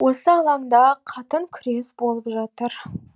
осы алаңда қатын күрес болып жатыр